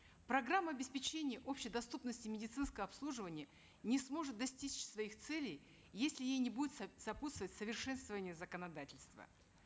программа обеспечения общедоступности медицинского обслуживания не сможет достичь своих целей если ей не будет сопутствовать совершенствование законодательства